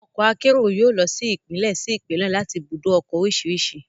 Àwọn ọkọ akérò yóò lọ sí Ìpínlẹ̀ sí Ìpínlẹ̀ láti ibùdó ọkọ̀ oríṣiríṣi